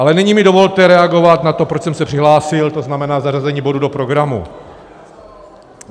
Ale nyní mi dovolte reagovat na to, proč jsem se přihlásil, to znamená zařazení bodu do programu.